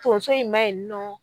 Tonso in ma yen nɔɔ